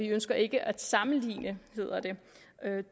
ønsker ikke at sammenligne